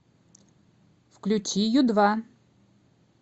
включи ю два